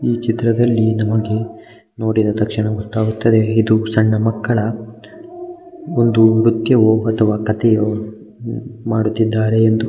ಈ ಚಿತ್ರದ ನಮಗೆ ನೋಡಿದ ತಕ್ಷಣ ಗೊತ್ತಾಗುತ್ತದೆ. ಇದು ಸಣ್ಣ ಮಕ್ಕಳ ಒಂದು ಕಥೆಯೋ ಉಹ್ ಮಾಡುತ್ತಿದ್ದಾರೆ ಎಂದು--